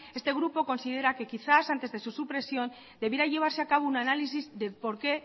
este grupo considera que quizás antes de su supresión debiera llevarse a cabo un análisis del porqué